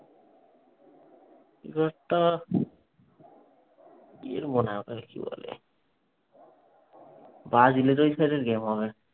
কি যেন মনে হয় ওটাকে কি বলে? ব্রাজিলের ওই side এর game হবে।